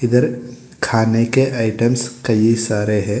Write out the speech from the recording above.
इधर खाने के आइटम्स कई सारे हैं।